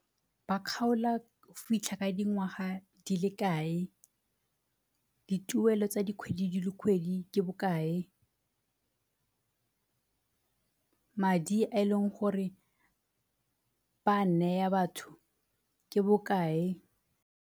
Ba kgaola go fitlha ka dingwaga di le kae? Dituelo tsa dikgwedi le dikgwedi ke bokae? Madi a e leng gore ba a neya batho ke bokae?